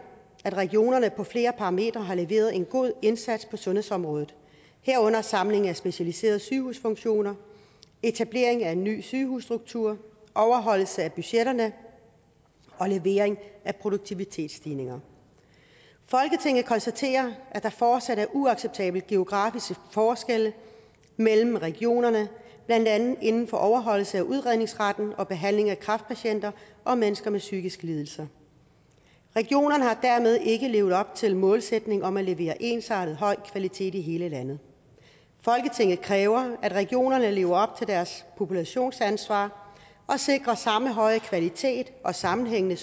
at regionerne på flere parametre har leveret en god indsats på sundhedsområdet herunder samling af specialiserede sygehusfunktioner etablering af en ny sygehusstruktur overholdelse af budgetterne og levering af produktivitetsstigninger folketinget konstaterer at der fortsat er uacceptable geografiske forskelle mellem regionerne blandt andet inden for overholdelse af udredningsretten og behandling af kræftpatienter og mennesker med psykiske lidelser regionerne har dermed ikke levet op til målsætningen om at levere ensartet høj kvalitet i hele landet folketinget kræver at regionerne lever op til deres populationsansvar og sikrer samme høje kvalitet og sammenhængende